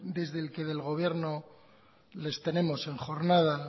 desde el que del gobierno les tenemos en jornada